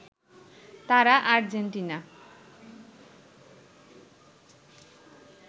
তারা আর্জেন্টিনা